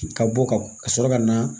Ka bɔ ka ka sɔrɔ ka na